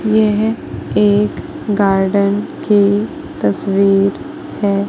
यह एक गार्डन की तस्वीर है।